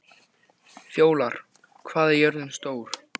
Fjólar, hvað er jörðin stór?